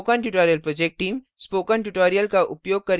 spoken tutorial project team